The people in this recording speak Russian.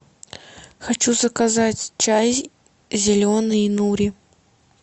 хочу заказать чай зеленый нури